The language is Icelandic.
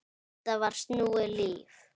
Þetta var snúið líf.